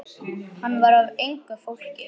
Hann var af engu fólki.